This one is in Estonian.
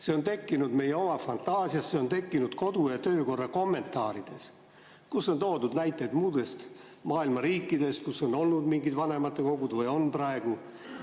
See on tekkinud meie oma fantaasias, see on tekkinud kodu‑ ja töökorra kommentaarides, kus on toodud näiteid muude maailma riikide kohta, kus on olnud või on praegu mingid vanematekogud.